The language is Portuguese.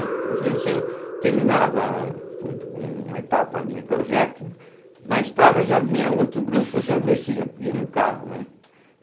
Às vezes eu terminava um uma etapa de um projeto, na estrada já vinha outro grupo, eu já descia e ia no carro, né.